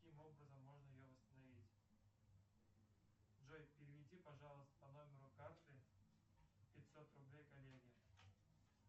каким образом можно ее восстановить джой переведи пожалуйста по номеру карты пятьсот рублей коллеге